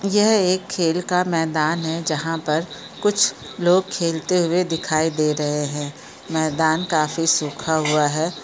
यह एक खेल का मैदान है जहाँ पर कुछ लोग खेलते हुए दिखाई दे रहे हैं मैदान काफी सुखा हुआ है।